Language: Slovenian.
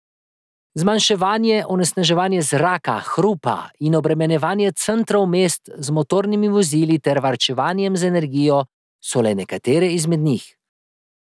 Zmanjševanje onesnaževanja zraka, hrupa in obremenjevanja centrov mest z motornimi vozili ter varčevanje z energijo so le nekateri izmed njih.